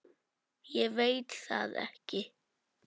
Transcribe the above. Ég veit það ekki